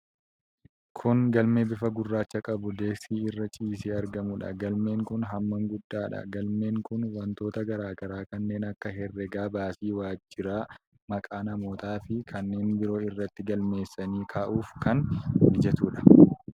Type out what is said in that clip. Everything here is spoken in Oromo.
Kun galmee bifa gurraacha qabu, deeskii irra ciisee argamuudha. Galmeen kun hammaan guddaadha. Galmeen kun wantoota garaa garaa kanneen akka herreega baasii waajjiraa, maqaa namootaa fi kanneen biroo irratti galmeessanii kaa'uf kan mijatuudha.